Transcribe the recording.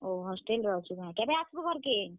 ଓହୋ hostel ରେ ଅଛୁ କେଁ କେଭେ ଆସ୍ ବୁ ଘର୍ କେ?